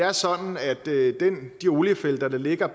er sådan at de oliefelter der ligger